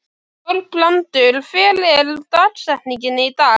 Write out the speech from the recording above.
Þorbrandur, hver er dagsetningin í dag?